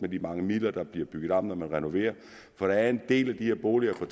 de mange midler der bliver bygget om for når man renoverer for der er en del af de her boliger fra